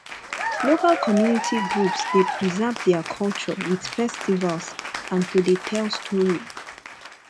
local community groups de preserve their culture with festivals and to de tell story